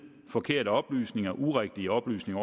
forkerte oplysninger urigtige oplysninger